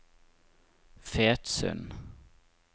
Fetsund